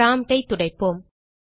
promptஐ துடைப்போம்